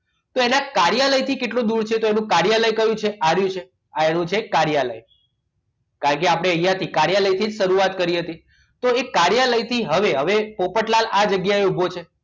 તો એના કાર્યાલયથી કેટલો દૂર છે તો એનું કાર્યાલય કયું છે આવ્યું છે આ એનું કાર્યાલય કારણ કે આપણે અહીંયા કાર્યાલયથી શરૂઆત કરીએ છીએ હતી તો એ કાર્યાલયથી હવે હવે પોપટલાલ આવી જગ્યાએ ઉભો છે